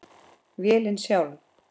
Vélin sjálf